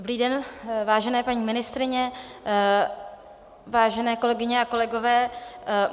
Dobrý den, vážené paní ministryně, vážené kolegyně a kolegové.